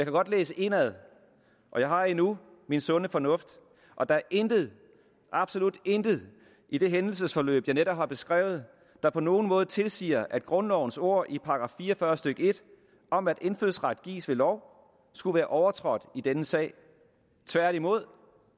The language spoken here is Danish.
godt læse indenad og jeg har endnu min sunde fornuft og der er intet absolut intet i det hændelsesforløb jeg netop har beskrevet der på nogen måde tilsiger at grundlovens ord i § fire og fyrre stykke en om at indfødsret gives ved lov skulle være overtrådt i denne sag tværtimod